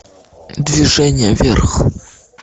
движение вверх